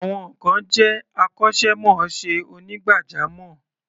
Some peple are professional barbers.